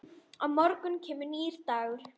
Á morgun kemur nýr dagur.